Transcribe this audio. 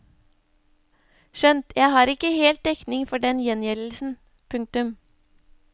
Skjønt jeg har ikke helt dekning for den gjengjeldelsen. punktum